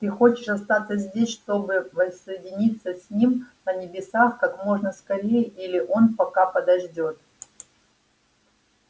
ты хочешь остаться здесь чтобы воссоединиться с ним на небесах как можно скорее или он пока подождёт